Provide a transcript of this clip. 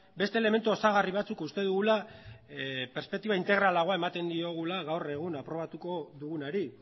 beste elementu osagarri batzuk uste dugula perspektiba integralagoa ematen diogula gaur egun aprobatuko dugunari